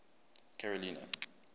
carolina